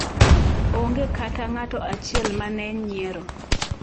"Onge kata ng'ato achiel mane nyiero."